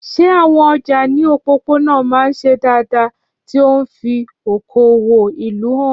Ṣé àwọn ọjà ní òpópónà máa ń ṣe dáadáa, tí ó ń fi okòwò ìlú hàn?